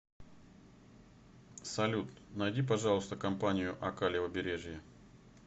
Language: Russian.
салют найди пожалуйста компанию ока левобережье